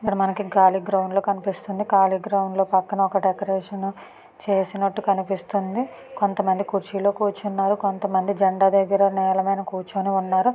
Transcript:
ఇక్కడ మనకి కాళి గ్రౌండ్ కనిపిస్తుంది పక్కన ఒక డెకొరేషన్ చేసినట్టు కనిపిస్తుంది కొంతమంది కుర్చీలో కూర్చున్నారు కొంతమంది జండా దగ్గర నీల మీద కూర్చుని ఉన్నారు.